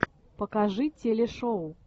покажи телешоу